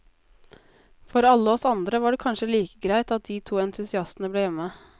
For alle oss andre var det kanskje like greit at de to entusiastene ble hjemme.